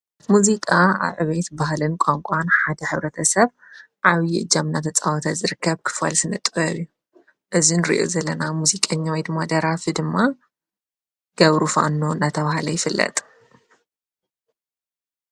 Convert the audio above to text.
ሙዚቃ ኣዕበይት ባህልን ቛንቋን ሓደ ኅብረተ ሰብ ዓዊዪ እጃምና ተፃዖተ ዝርከብ ክፈል ስንጥወሩዩ እዝን ርዑ ዘለና ሙዚቀኛዊ ድማ ደራፊ ድማ ገብሩፋኖ ናታውሃለ ይፍለጥ።